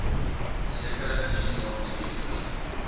sekere senior bestuurders